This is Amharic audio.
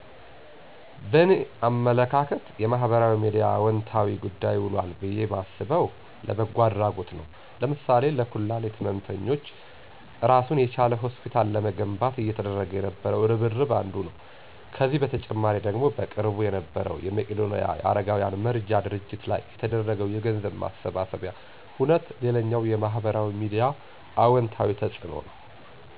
በእኔ አመለካከት የማህበራዊ ሚድያ ለአወንታዊ ጉዳይ ውሏል ብየ ማስበው፣ ለበጎ አድረጎት ነዉ ለምሳሌ ለኩላሊት ህመምተኞች እራሱን የቻለ ሆስፒታል ለመገንባት እየተደረገ የነበረው እርብርብ አንዱ ነው። ከዚህ በተጨማሪ ደግሞ በቅርቡ የነበረዉ የመቄዶንያ የአረጋውያን መርጃ ድርጅት ላይ የተደረገው የገንዘብ ማሰባሰቢያ ሁነት ሌላኛው የማህበራዊ ሚዲያ አወንታዊ ተፅእኖ ነዉ።